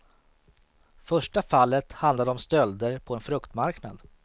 Första fallet handlade om stölder på en fruktmarknad.